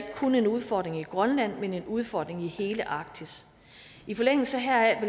kun en udfordring i grønland men en udfordring i hele arktis i forlængelse heraf